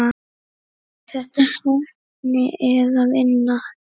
Er þetta heppni eða vinna?